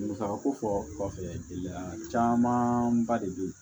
Musaka ko fɔ kɔfɛ gɛlɛya camanba de be yen